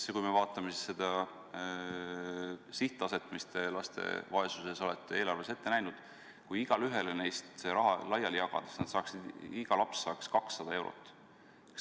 Kui lähtuda laste vaesuse sihttasemest, mis te eelarves olete ette näinud, siis võib öelda, et kui igaühele neist see raha laiali jagada, siis iga laps saaks 200 eurot.